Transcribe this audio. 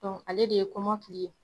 ale de ye kɔmɔkili ye